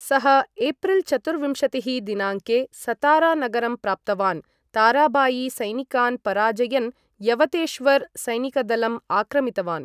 सः एप्रिल् चतुर्विंशतिः दिनाङ्के सतारा नगरं प्राप्तवान्, ताराबाई सैनिकान् पराजयन् यवतेश्वर सैनिकदलम् आक्रमितवान्।